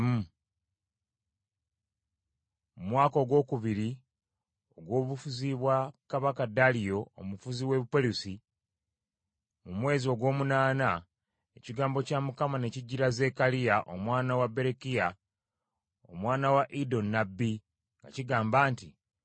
Mu mwaka ogwokubiri ogw’obufuzi bwa kabaka Daliyo omufuzi w’e Buperusi mu mwezi ogw’omunaana, ekigambo kya Mukama ne kijjira Zekkaliya omwana wa Berekiya, omwana wa Iddo nnabbi, nga kigamba nti: